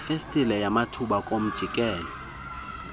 yefestile yamathuba kumjikelo